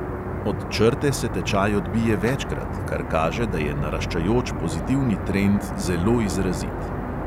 Od črte se tečaj odbije večkrat, kar kaže, da je naraščajoč pozitivni trend zelo izrazit.